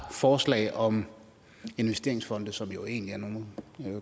forslag om investeringsfonde som jo egentlig er nogle